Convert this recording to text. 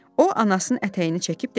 O anasının ətəyini çəkib dedi: